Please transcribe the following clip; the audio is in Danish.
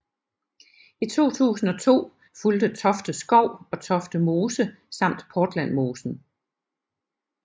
I 2002 fulgte Tofte Skov og Tofte Mose samt Portlandmosen